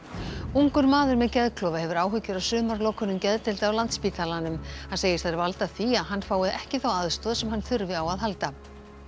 ungur maður með geðklofa hefur áhyggjur af sumarlokunum geðdeilda á Landspítalanum hann segir þær valda því að hann fái ekki þá aðstoð sem hann þurfi á að halda